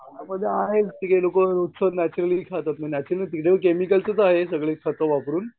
हा म्हणजे आहेत ती काही लोकं नॅच्युरली खातात. मग नॅच्युरल सगळे खतं वापरून